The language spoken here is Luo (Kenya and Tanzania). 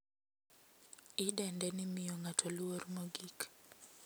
Idende ni miyo ng`ato luor mogik.